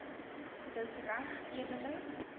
dis reg edele